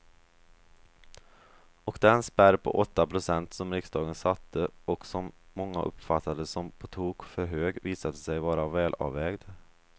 Och den spärr på åtta procent som riksdagen satte och som många uppfattade som på tok för hög visade sig vara välavvägd.